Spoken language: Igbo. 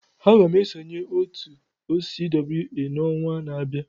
Aga m esonyere otu OCWA n'ọnwa na-abịa.